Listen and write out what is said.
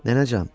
Nənəcan,